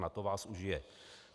Na to vás užije.